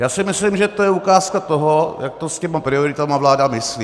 Já si myslím, že to je ukázka toho, jak to s těma prioritama vláda myslí.